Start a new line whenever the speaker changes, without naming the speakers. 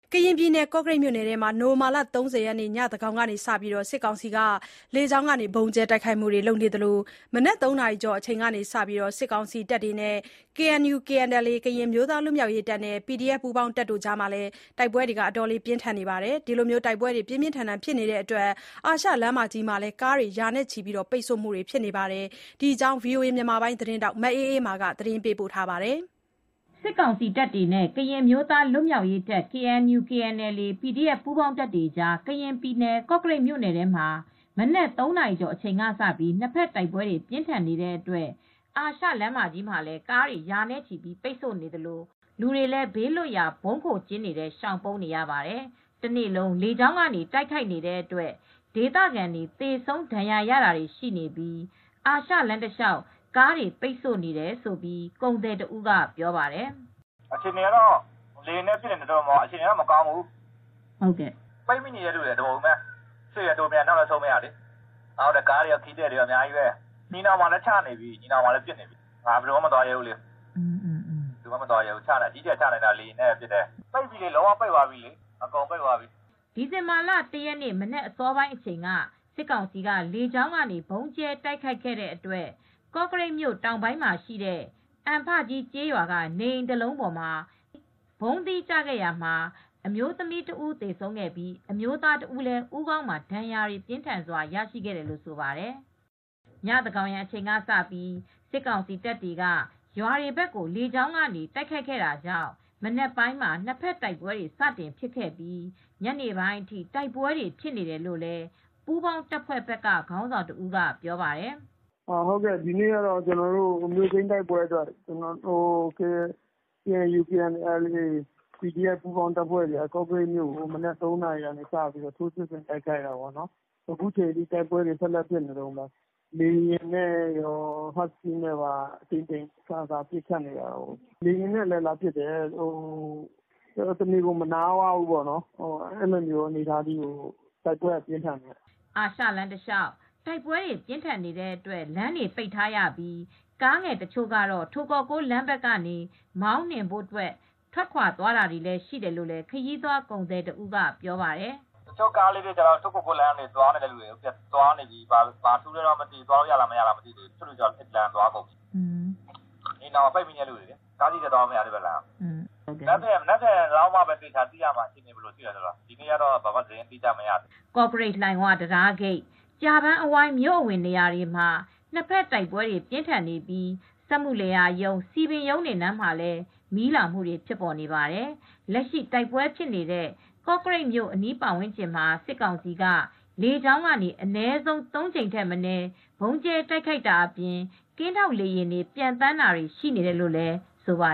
ကရင်ပြည်နယ်၊ ကော့ကရိတ်မြို့နယ်ထဲမှာ နိုဝင်ဘာလ ၃၀ ရက်နေ့ ညသန်းခေါင်ကစပြီး စစ်ကောင်စီက လေကြောင်းကနေ ဗုံးကြဲ တိုက်ခိုက်မူတွေ လုပ်ခဲ့သလို မနက် ၃ နာရီကျော် အချိန်ကစပြီး စစ်ကောင်စီတပ်တွေနဲ့ KNU/KNLA ကရင်အမျိုးသားလွတ်မြောက်ရေးတပ်နဲ့ PDF ပူးပေါင်းတပ်တွေအကြား တိုက်ပွဲတွေ ပြင်းထန်နေပါတယ်။ အခုလို တိုက်ပွဲတွေဖြစ်နေတဲ့အတွက် အာရှလမ်းမကြီးမှာလည်း ကားတွေ ရာနဲ့ချီ ပိတ်ဆို့နေပါတယ်။ ဒီအကြောင်း ဗွီအိုအေသတင်းထောက် မအေးအေးမာက သတင်းပေးပို့ထားပါတယ်။ စစ်ကောင်စီတပ်တွေနဲ့ ကရင်အမျိုးသားလွတ်မြောက်ရေးတပ် KNU /KNLA - PDF ပူးပေါင်းတပ်တွေအကြား ကရင်ပြည်နယ်၊ ကော့ကရိတ် မြို့နယ်ထဲမှာ မနက် ၃ နာရီကျော် အချိန်ကစပြီး နှစ်ဖက် တိုက်ပွဲတွေ ပြင်းထန်နေတဲ့အတွက် အာရှလမ်းမကြီးမှာလည်း ကားတွေ ရာနဲ့ချီ ပိတ်ဆိုနေသလို လူတွေလည်း ဘေးလွတ်ရာ ဗုံးခိုကျင်းတွေထဲ ရှောင်ပုန်းနေရပါတယ်။ တနေ့လုံး လေကြောင်းက တိုက်ခိုက်နေတဲ့အတွက် ဒေသခံတွေ သေဆုံး၊ ဒဏ်ရာရတာတွေ ရှိနေပြီး အာရှလမ်းတလျောက် ကားတွေ ပိတ်ဆို့နေတယ်လို့ ကုန်သည်တဦးက ပြောပါတယ်။
"လေယာဉ်တွေနဲ့ပစ်နေတယ် အခြေအနေ ကမကောင်းဘူးပိတ်မိနေသူတွေကတပုံကြီးပဲ ရှေ့လည်းတိုးမရ နောက်လည်းဆုတ်မရဖြစ်နေတယ် ကားတွေကော ခရီးသည်တွေကောအများကြီးပဲ သင်္ကန်းညီနောင်မှာလည်းပစ်ခတ်နေတယ် ဘယ်သူမှ မသွားရဲတော့ဘူး
၊
ချနေတာ အကြီးကျယ်ပဲလမ်းတွေက အကုန်ပိတ်သွားပြီ
" ဒီဇင်ဘာလ ၁ ရက်နေ့ မနက် အစောပိုင်းအအချိန်က စစ်ကောင်စီက လေကြောင်းကနေ ဗုံးကြဲတိုက်ခိုက်တဲ့အတွက် ကော့ကရိတ်မြို့ တောင်ဘက်ပိုင်းမှာရှိတဲ့ အံဖကြီးကျေးရွာက နေအိမ်တစ်လုံးပေါ် ဗုံးသီးကျခဲ့တာမှာ အမျိုးသမီးတဦး သေဆုံးပြီး အမျိုးသားတဦးလည်း ဦးခေါင်းမှာ ဒဏ်ရာ ပြင်းထန်စွာရရှိခဲ့တယ်လို့ဆိုပါတယ်။ ညသန်းခေါင်းယံအချိန်ကစပြီး စစ်ကောင်စီတပ်တွေက ရွာတွေဘက်ကို လေကြောင်းက တိုက်ခိုက်ခဲ့တာကြောင့် မနက်ပိုင်းမှာ နှစ်ဖက်တိုက်ပွဲတွေ စတင်ဖြစ်ခဲ့ပြီး ညနေပိုင်းအထိ တိုက်ပွဲတွေ ဖြစ်နေတယ်လို့ ပူးပေါင်းတပ်ဘက်က ခေါင်းဆောင်တဦးက ပြောပါတယ်။
"ဒီနေ့ကတော့ မြို့ သိမ်းတိုက်ပွဲအတွက် KNU/KNLA - PDF တွေက ကော့ကရိတ်မှာ မနက် ၃နာရီ ထဲက တိုက်ပဲွဖြစ်နေတာပေါ့၊ လေယာဉ်နဲ့ကော၊ ဟတ်စကီးနဲ့ကော အကြိမ်ကြိမ်လာပစ်တယ်။ တနေ့လုံး မနားတမ်းပစ်နေတယ်၊ အဲဒီလိုအနေအထားထိ တိုက်ပွဲကတော့ ပြင်းထန်ပါတယ်
။" အာရှလမ်းတလျောက် တိုက်ပွဲပြင်းထန်နေတဲ့အတွက် လမ်းပိတ်ထားရပြီး ကားငယ်တချို့တော့ ထိုကောကိုး လမ်းဘက်ကနေ မောင်းနှင်ဖို့ ထွက်ခွါသွားတာတွေရှိတယ်လို့လည်း ခရီးသွားကုန်သည်တဦးက ပြောပါတယ်။ "
တချို့ကားလေးတွေကတော့ ထိုကောကိုး လမ်းကနေ သွားနေကြတယ်။ အခြေအနေတွေမသိရသေးဘူး၊ သွားရမရ မသိသေးဘူး။ သင်္ဃန်းညီနောင် ပိတ်မိသူတွေက အဲဒီကနေ သွားနေတယ်
။ မနက
်ဖန်လောက်မှ သေချာသိရမယ်။ ဒီနေ့ကတော့ ဘာမှ သိပ်မသိရသေးဘ
ူး" ကော့ကရိတ်-လှိုင်ဝ တံတားဂိတ်၊ ကြာပန်းအဝိုင်း မြို့အဝင် နေရာတွေမှာ နှစ်ဖက်တိုက်ပွဲတွေ ပြင်းထန်နေပြီး စက်မှုလယ်ယာရုံး၊ စည်ပင်ရုံးတွေနားမှာ မီးလောင်နေပါတယ်။ လက်ရှိ တိုက်ပွဲဖြစ်နေတဲ့ ကော့ကရိတ်မြို့အနီးဝန်းကျင်မှာ စစ်ကောင်စီက လေကြောင်းကနေ အနည်းဆုံး ၃ ကြိမ်ထက်မနည်း ဗုံးကြဲတိုက်ခိုက်တာအပြင် ကင်းထောက်လေယာဉ်တွေ ပျံသန်းတာတွေလည်း ရှိနေတယ်လို့ ဆိုပါ